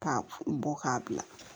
K'a bɔ k'a bila